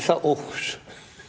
að óx